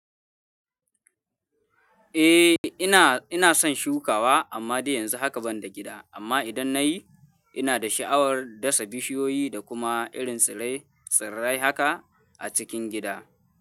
Eh ina, ina son shukawa amma dai yanzu haka ban da gida amma idan nayi ina da sha'awar dasa bishiyoyi da kuma irin tsirai, tsirai haka a cikin gida.